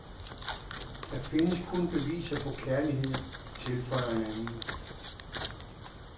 Der findes kun beviser på kærlighed, tilføjer en anden.